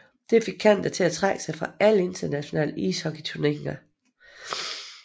Det fik Canada til at trække sig fra alle internationale ishockeyturneringer